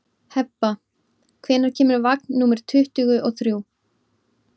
Hebba, hvenær kemur vagn númer tuttugu og þrjú?